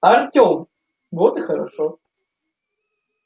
артём вот и хорошо